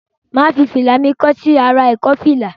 Mà á fi fìlà mi kọ́ sí ará ìkọ́fìlà.